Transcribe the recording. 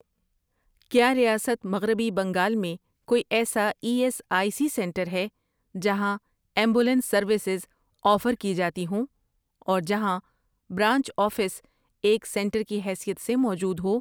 کیا ریاست مغربی بنگال میں کوئی ایسا E S I C centre ہے جہاں ایمبولینس سروسز آفر کی جاتی ہوں اور جہاں برانچ آفس ایک سینٹر کی حیثیت سے موجود ہو؟